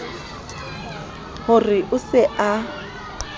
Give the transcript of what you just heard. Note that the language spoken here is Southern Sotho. ho re o se a